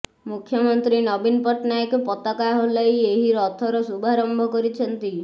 ମୁଖ୍ୟମନ୍ତ୍ରୀ ନବୀନ ପଟ୍ଟନାୟକ ପତାକା ହଲାଇ ଏହି ରଥର ଶୁଭାରମ୍ଭ କରିଛନ୍ତି